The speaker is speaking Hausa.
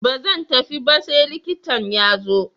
Ba zan tafi ba sai likitan ya fito.